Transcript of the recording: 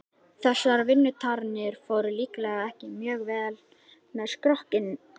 Þessar vinnutarnir fóru líklega ekki mjög vel með skrokkinn.